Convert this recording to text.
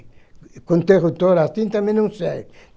Com interrutor, assim, também não serve.